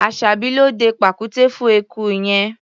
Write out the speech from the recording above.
Aṣàbí ló dẹ pàkúté fún eku yẹn.